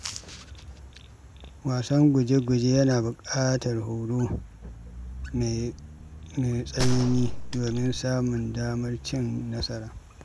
Wasan guje-guje yana buƙatar horo mai tsanani domin samun damar cin nasara.